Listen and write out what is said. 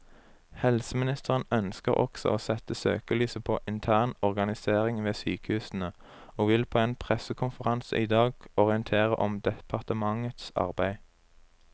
Helseministeren ønsker også å sette søkelyset på intern organisering ved sykehusene, og vil på en pressekonferanse i dag orientere om departementets arbeid.